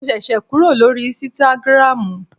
Mo ṣẹ̀ṣẹ̀ kúrò lórí ísítágírámù